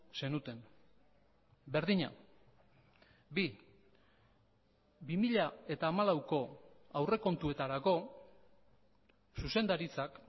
zenuten berdina bi bi mila hamalauko aurrekontuetarako zuzendaritzak